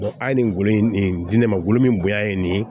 a ye nin golo in di ne mago min bonya ye nin ye